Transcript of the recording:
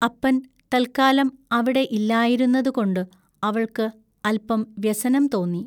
അപ്പൻ തല്ക്കാലം അവിടെ ഇല്ലായിരുന്നതുകൊണ്ടു അവൾക്കു അല്പം വ്യസനം തോന്നി.